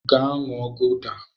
Gaa ṅụọ gụda!